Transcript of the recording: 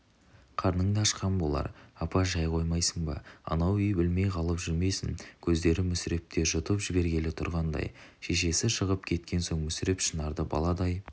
қарның да ашқан болар апа шай қоймайсың ба анау үй білмей қалып жүрмесін көздері мүсірепте жұтып жібергелі тұрғандай шешесі шығып кеткен соң мүсіреп шынарды баладай